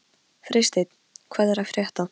Freysteinn, hvað er að frétta?